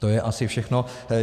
To je asi všechno.